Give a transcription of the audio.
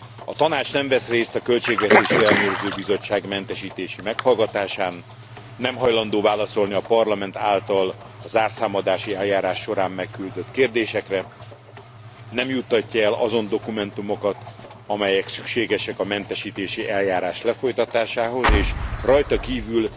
A Tanács nem vesz részt a Költségvetési Ellenőrző Bizottság mentesítési meghallgatásán, nem hajlandó válaszolni a Parlament által a zárszámadási eljárás során megküldött kérdésekre, nem juttatja el azon dokumentumokat, amelyek szükségesek a mentesítési eljárás lefolytatásához, és amelyeket rajta kívül